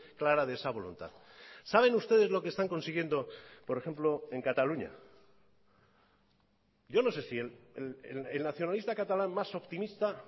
clara de esa voluntad saben ustedes lo que están consiguiendo por ejemplo en cataluña yo no sé si el nacionalista catalán más optimista